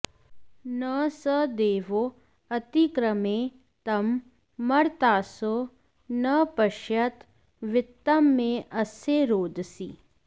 न स दे॑वा अति॒क्रमे॒ तं म॑र्तासो॒ न प॑श्यथ वि॒त्तं मे॑ अ॒स्य रो॑दसी